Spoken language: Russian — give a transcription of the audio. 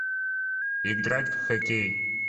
играть в хоккей